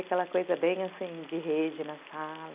Aquela coisa bem, assim, de rede na sala.